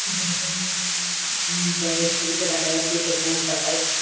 যে জি-ই-ই-ই গি জায়গার ছবিটা দেখা যাচ্ছে এটা কলকাতায়।